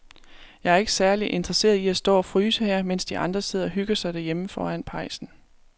Jeg er ikke særlig interesseret i at stå og fryse her, mens de andre sidder og hygger sig derhjemme foran pejsen.